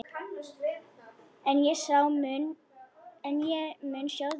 En ég mun sjá þig.